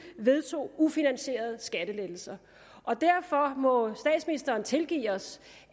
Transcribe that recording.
vedtog ufinansierede skattelettelser derfor må statsministeren tilgive os